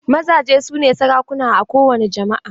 Mazaje su ne sarakuna a kowani jama"a.